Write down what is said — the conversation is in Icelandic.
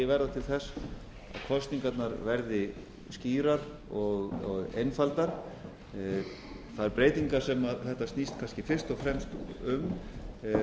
verða til þess að kosningarnar verði skýrar og einfaldar þær breytingar sem þetta snýst kannski fyrst og fremst um